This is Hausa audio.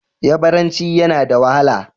Yabaranci yana da wahala.